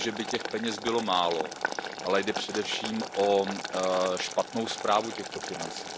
Ne že by těch peněz bylo málo, ale jde především o špatnou správu těchto financí.